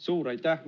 Suur aitäh!